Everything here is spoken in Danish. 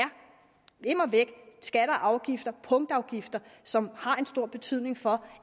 immer væk skatter og afgifter punktafgifter som har en meget stor betydning for